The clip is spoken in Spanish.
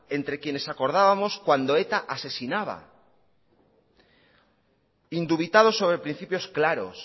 entre quienes acordábamos cuando eta asesinaba indubitados sobre principios claros